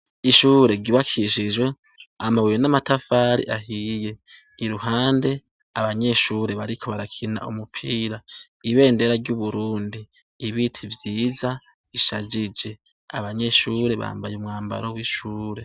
Ishure ryubakishijwe amabuye n'amatafari ahiye iruhande abanyeshure bariko barakina umupira ibendera ry'uburundi ibiti vyiza bishajije abanyeshure bambaye umwambaro w'ishure.